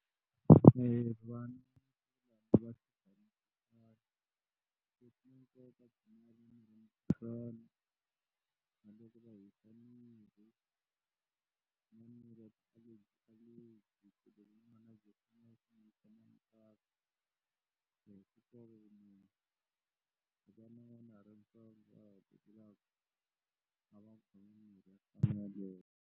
.